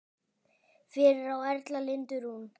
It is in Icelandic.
Fyrir á Erla Lindu Rún.